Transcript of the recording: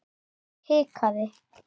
Ég hikaði.